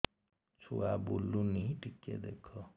ଛୁଆ ବୁଲୁନି ଟିକେ ଦେଖ